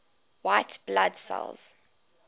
white blood cells